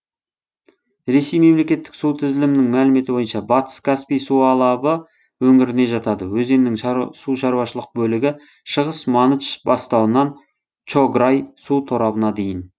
ресей мемлекеттік су тізілімінің мәліметі бойынша батыс каспий су алабы өңіріне жатады өзеннің су шаруашылық бөлігі шығыс маныч бастауынан чограй су торабына дейін